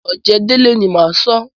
Ọ̀jẹ̀délé ni máa sọ́.